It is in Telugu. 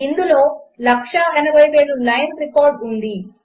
ఇందులో 180000 లైన్స్ రికార్డు ఉంది